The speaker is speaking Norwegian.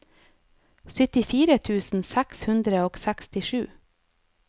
syttifire tusen seks hundre og sekstisju